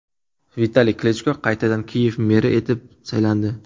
Vitaliy Klichko qaytadan Kiyev meri etib saylandi.